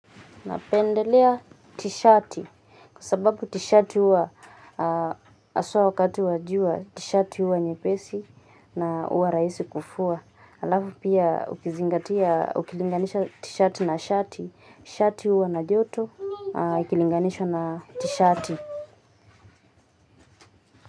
Napendelea t-shati kwa sababu t-shati huwa haswa wakati wa jua t-shati huwa nyepesi na huwa rahisi kufua. Halafu pia ukizingatia, ukilinganisha t-shati na shati, shati huwa na joto, ukilinganisha na t-shati.